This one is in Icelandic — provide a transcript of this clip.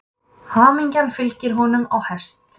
Hamingjan fylgir honum á hest.